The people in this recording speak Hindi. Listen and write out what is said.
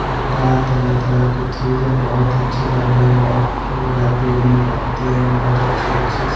पर्दा है तरह तरह के चीज हैं बहोत अच्छे लग रहे हैं बहोत फूल है पेड़ में पत्ते हैं बहोत अच्छे अच्छे से--